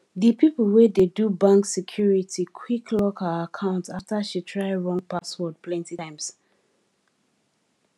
di people wey dey do bank security quick lock her account after she try wrong password plenty times